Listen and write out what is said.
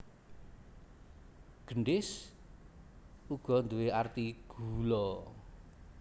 Gendhis uga nduwé arti gula